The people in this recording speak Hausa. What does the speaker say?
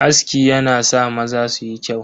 Aski yana sa maza suyi kyau.